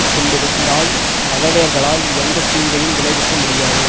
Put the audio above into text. கொண்டிருந்தால் பகைவர்களால் எந்த தீங்கையும் விளைவிக்க முடியாது